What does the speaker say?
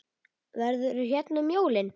Verður þú hérna um jólin?